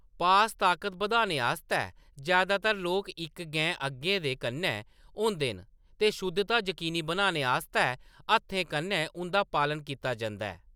पास ताकत बद्धाने आस्तै जैदातर लोक इक गैंऽ अग्गें दे कन्नै होंदे न ते शुद्धता यकीनी बनाने आस्तै हत्थें कन्नै उंʼदा पालन कीता जंदा ऐ।